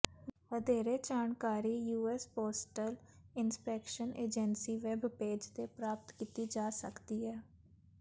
ਵਧੇਰੇ ਜਾਣਕਾਰੀ US postal inspection agency web page ਤੇ ਪ੍ਰਾਪਤ ਕੀਤੀ ਜਾ ਸਕਦੀ ਹੈ